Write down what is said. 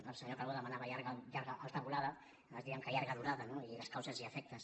el senyor calbó demanava llarga i alta volada nosaltres diem que llarga durada no i les causes i efectes